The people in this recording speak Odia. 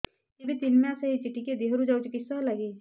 ଏବେ ତିନ୍ ମାସ ହେଇଛି ଟିକିଏ ଦିହରୁ ଯାଉଛି କିଶ ହେଲାକି